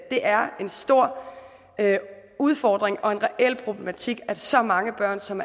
det er en stor udfordring og en reel problematik at så mange børn som